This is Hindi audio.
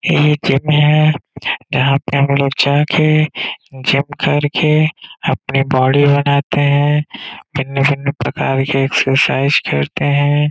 ए एक जिम है। यहाँ पे हम लोग जाके जिम करके अपनी बॉडी बनाते हैं। भिन्न-भिन्न प्रकार के एक्सरसाइज करते हैं।